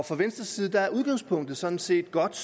fra venstres side er udgangspunktet sådan set godt